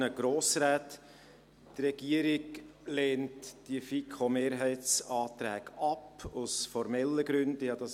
Die Regierung lehnt die FiKoMehrheitsanträge aus formellen Gründen ab;